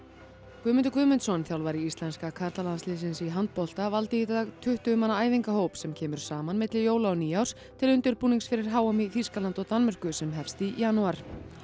Guðmundur Guðmundsson þjálfari íslenska karlalandsliðsins í handbolta valdi í dag tuttugu manna æfingahóp sem kemur saman milli jóla og nýárs til undirbúnings fyrir h m í Þýskalandi og Danmörku sem hefst í janúar